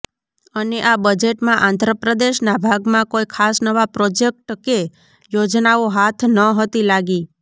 અને આ બજેટમાં આંધ્ર પ્રદેશના ભાગમાં કોઇ ખાસ નવા પ્રોજેક્ટ કે યોજનાઓ હાથ નહતી લાગી